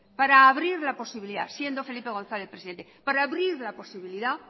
para abrir la posibilidad siendo felipe gonzález presidente para abrir la posibilidad